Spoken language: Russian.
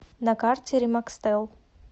на карте ремакстел